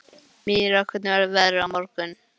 Myrra, hvernig verður veðrið á morgun?